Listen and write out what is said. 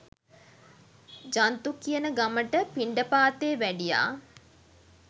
ජන්තු කියන ගමට පිණ්ඩපාතේ වැඩියා